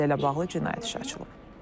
Hadisə ilə bağlı cinayət işi açılıb.